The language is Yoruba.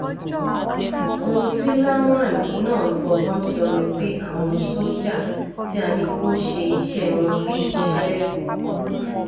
ohun tí lawan náà ń fọgbọ́n sọ ni pé àwọn sójà tí a ní kó ṣe iṣẹ́ iṣẹ́ wọn bíi iṣẹ́